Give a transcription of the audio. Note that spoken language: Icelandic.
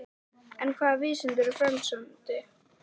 En hvaða vísindi eru frelsandi?